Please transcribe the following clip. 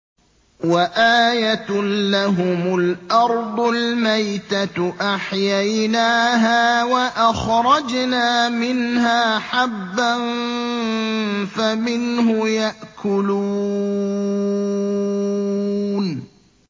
وَآيَةٌ لَّهُمُ الْأَرْضُ الْمَيْتَةُ أَحْيَيْنَاهَا وَأَخْرَجْنَا مِنْهَا حَبًّا فَمِنْهُ يَأْكُلُونَ